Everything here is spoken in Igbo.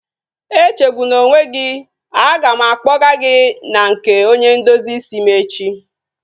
Echegbuna onwe gị, a ga m akpọgaa gị na nke onye ndozi isi m echi